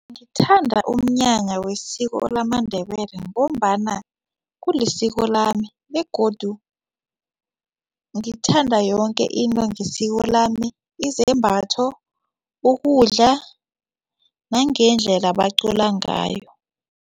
Ngithanda umnyanya wesiko lamaNdebele ngombana kulisiko lami begodu ngithanda yoke into ngesiko lami izembatho ukudla nangendlela bacula ngayo.